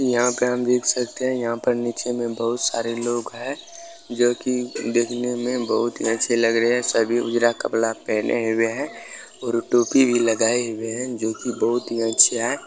यहाँ पर हम देख सकते है यहाँ पर नीचे में बहुत सारे लोग हैं जो कि देखने में बहुत ही अच्छे लग रहे हैं सभी उजरा कपड़ा पेहने हुए हैं और टोपी भी लगाए हुए है जो की बहुत ही अच्छे हैं।